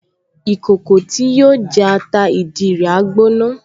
Ìkòkò tí yóò jẹ ata ìdí rẹ̀ á gbóná